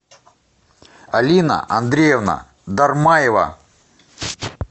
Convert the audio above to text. алина андреевна дармаева